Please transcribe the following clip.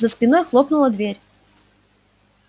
за спиной хлопнула дверь